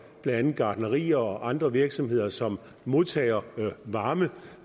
andet gartnerier og andre virksomheder som modtager varme